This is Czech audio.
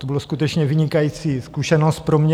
To byla skutečně vynikající zkušenost pro mě.